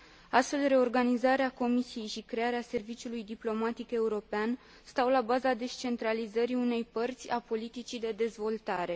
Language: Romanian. Astfel, reorganizarea Comisiei și crearea serviciului diplomatic european stau la baza descentralizării unei părți a politicii de dezvoltare.